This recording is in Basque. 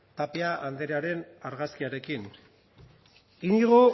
tapia andrearen argazkiarekin íñigo